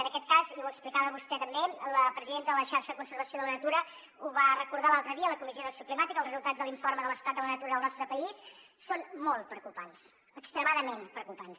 en aquest cas i ho explicava vostè també la presidenta de la xarxa de conservació de la natura ho va recordar l’altre dia a la comissió d’acció climàtica els resultats de l’informe de l’estat de la natura al nostre país són molt preocupants extremadament preocupants